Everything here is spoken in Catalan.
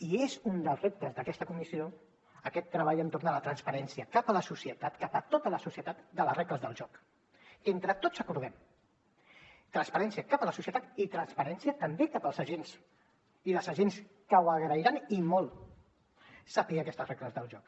i és un dels reptes d’aquesta comissió aquest treball entorn de la transparència cap a la societat cap a tota la societat de les regles del joc que entre tots acordem transparència cap a la societat i transparència també cap als agents i les agents que ho agrairan i molt saber aquestes regles del joc